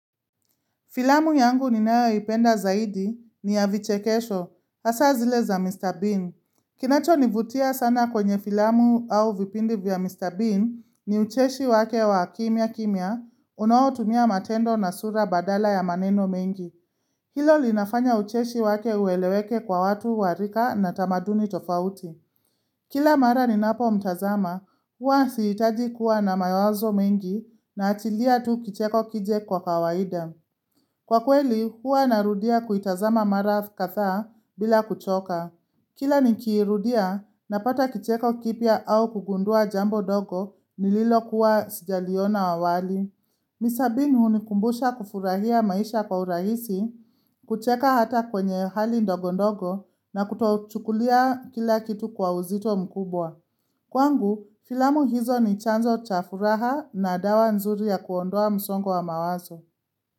Filamu yangu ninayoipenda zaidi ni ya vichekesho, hasa zile za Mr. Bean. Kinacho nivutia sana kwenye filamu au vipindi vya Mr. Bean ni ucheshi wake wa kimya kimya, unawotumia matendo na sura badala ya maneno mengi. Hilo linafanya ucheshi wake uweleweke kwa watu warika na tamaduni tofauti. Kila mara ninapo mtazama, uwa sihitaji kuwa na mayawazo mengi na atilia tu kicheko kije kwa kawaida. Kwa kweli, huwa narudia kuitazama mara kadhaa bila kuchoka. Kila nikiirudia, napata kicheko kipya au kugundua jambo dogo nililokuwa sijaliona awali. Misabini hunikumbusha kufurahia maisha kwa urahisi, kucheka hata kwenye hali ndogo ndogo na kutochukulia kila kitu kwa uzito mkubwa. Kwangu, filamu hizo ni chanzo chafuraha na dawa nzuri ya kuondoa msongo wa mawazo.